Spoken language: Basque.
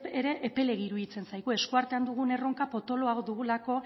ere epelegi iruditzen zaigu eskuartean dugun erronka potoloa dugulako